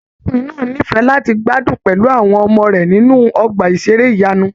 Arákùnrin náà n'ifẹ láti gbádùn pẹlú àwọn ọmọ rẹ nínú ọgbà iṣere ìyanu.